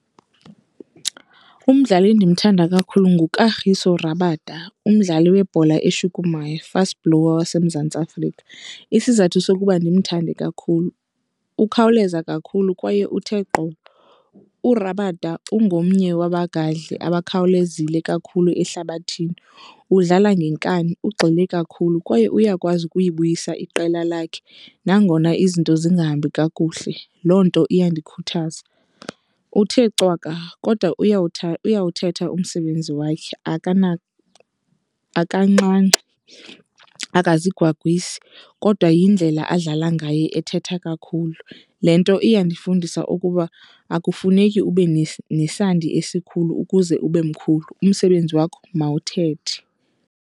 Umdlali endimthanda kakhulu nguKagiso Rabada, umdlali webhola eshukumayo, i-fast bowler waseMzantsi Afrika. Isizathu sokuba ndimthande kakhulu, ukhawuleza kakhulu kwaye uthe gqolo. URabada ungomnye wabagadli abakhawulezile kakhulu ehlabathini, udlala ngenkani, ugxile kakhulu kwaye uyakwazi ukuyibuyisa iqela lakhe nangona izinto zingahambi kakuhle. Loo nto iyandikhuthaza. Uthe cwaka kodwa uyawuthetha umsebenzi wakhe, akancami, akazigwagwisi kodwa yindlela adlala ngayo ethetha kakhulu. Le nto iyandifundisa ukuba akufuneki ube nesandi esikhulu ukuze ube mkhulu, umsebenzi wakho mawuthethe.